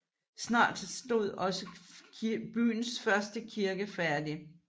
Snart stod også byens første kirke færdig